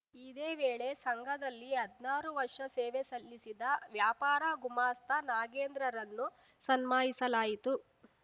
ಇದೇ ವೇಳೆ ಸಂಘದಲ್ಲಿ ಹದ್ನಾರು ವರ್ಷ ಸೇವೆ ಸಲ್ಲಿಸಿದ ವ್ಯಾಪಾರ ಗುಮಾಸ್ತ ನಾಗೇಂದ್ರರನ್ನು ಸನ್ಮಾನಿಸಲಾಯಿತು